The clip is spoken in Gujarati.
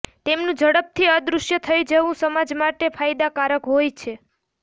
તેમનું ઝડપથી અદૃશ્ય થઈ જવું સમાજ માટે ફાયદાકારક હોય છે